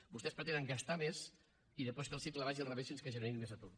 vostès pretenen gastar més i després que el cicle vagi al revés fins que generi més atur